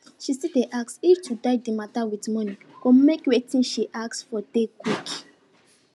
she still dey ask if to die de mata with monie go make wetin she ask for dey quick